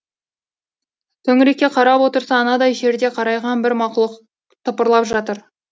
төңірекке қарап отырса анадай жерде қарайған бір мақұлық тыпырлап жатыр